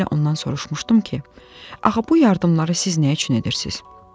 Dəfələrlə ondan soruşmuşdum ki, axı bu yardımları siz nə üçün edirsiz?